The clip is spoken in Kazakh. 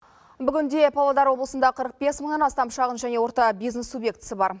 бүгінде павлодар облысында қырық бес мыңнан астам шағын және орта бизнес субъектісі бар